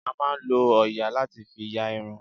A máà ń lọ òòyà láti fi ya irun.